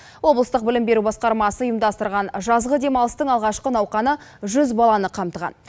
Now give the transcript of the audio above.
облыстық білім беру басқармасы ұйымдастырған жазғы демалыстың алғашқы науқаны жүз баланы қамтыған